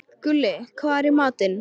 Gulli, hvað er í matinn?